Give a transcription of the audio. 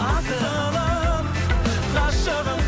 асылым ғашығым